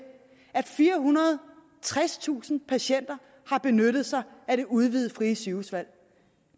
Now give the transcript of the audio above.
at firehundrede og tredstusind patienter har benyttet sig af det udvidede frie sygehusvalg